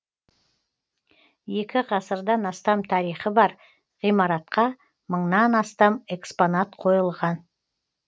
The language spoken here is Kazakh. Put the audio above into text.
екі ғасырдан астам тарихы бар ғимаратқа мыңнан астам экспонат қойылған